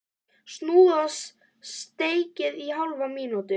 Snúið og steikið í hálfa mínútu.